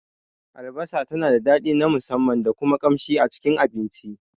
Albasa tana da daɗi na musamman da kuma kamshi a Cikin abinci.